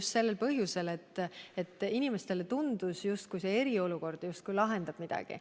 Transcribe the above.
See oli just sel põhjusel, et inimestele tundus, justkui eriolukord lahendaks midagi.